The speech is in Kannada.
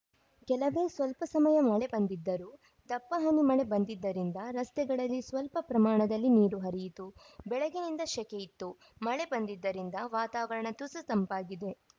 ಕೆಲವೇ ಸ್ವಲ್ಪ ಸಮಯ ಮಳೆ ಬಂದಿದ್ದರೂ ದಪ್ಪ ಹನಿ ಮಳೆ ಬಂದಿದ್ದರಿಂದ ರಸ್ತೆಗಳಲ್ಲಿ ಸ್ವಲ್ಪ ಪ್ರಮಾಣದಲ್ಲಿ ನೀರು ಹರಿಯಿತು ಬೆಳಗಿನಿಂದ ಶೆಕೆಯಿತ್ತು ಮಳೆ ಬಂದಿದ್ದರಿಂದ ವಾತಾವರಣ ತುಸು ತಂಪಾಗಿದೆ